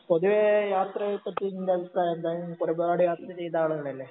പൊതുവെ യാത്രയെ പറ്റി നിൻ്റെ അഭിപ്രായം എന്താണ് നീ ഒരുപാട് യാത്ര ചെയ്ത ആളനല്ലേ